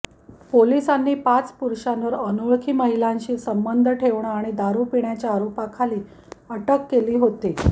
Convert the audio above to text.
पोलिसांनी पाच पुरुषांवर अनोळखी महिलांशी संबंध ठेवणं आणि दारु पिण्याच्या आरोपाखाली अटक केली होती